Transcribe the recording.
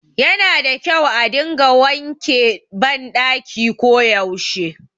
Yana da kyau a dinga wanke ban ɗaki ko yaushe